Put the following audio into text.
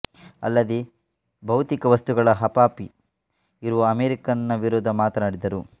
ಅಲ್ಲದೇ ಭೌತಿಕ ವಸ್ತುಗಳ ಹಪಾಪಿ ಇರುವ ಅಮೆರಿಕನ್ ರ ವಿರುದ್ದ ಮಾತನಾಡಿದರು